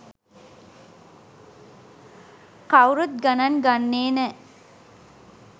කවුරුත් ගණන් ගන්නේ නෑ